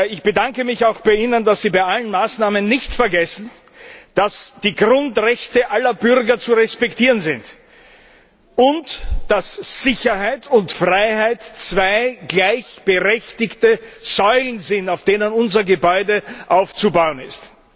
Ich bedanke mich auch bei Ihnen, dass Sie bei allen Maßnahmen nicht vergessen, dass die Grundrechte aller Bürger zu respektieren sind und dass Sicherheit und Freiheit zwei gleichberechtigte Säulen sind, auf denen unser Gebäude aufzubauen ist.